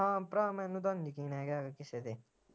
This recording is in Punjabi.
ਹਾਂ ਭਰਾ ਮੈਨੂੰ ਤਾ ਯਕੀਨ ਹੈਗਾ ਆ ਕਿਸੇ ਤੇ